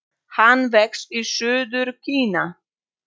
Hann vex í suður Kína.